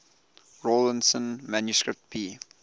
rawlinson manuscript b